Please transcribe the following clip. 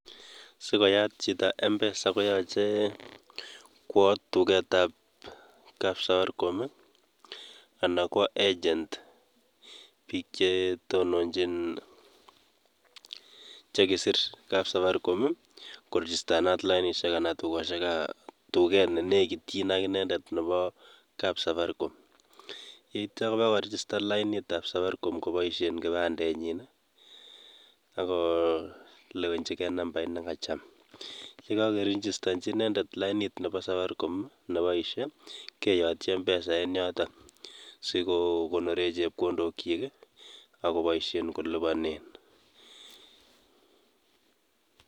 Sikoyat chito mpesa koyoche kwo duketab kapsafiricom ana kwo agent biik chetononjin chekisir kapsafaricom koregistanat lainishek ana duket nenekityin akinendet nepo kapsafaricom yeityo kopakoregistan lainitab safaricom koboishen kipandenyin akolewenjike nambait nekacham yekokerinjistonjin inendet lainit nepo safaricom neboishe keyotyi Mpesa en yoton sikokonoren chepkondokyik akoboishen kolipanen.